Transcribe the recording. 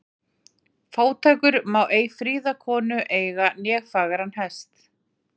Fátækur má ei fríða konu eiga né fagran hest.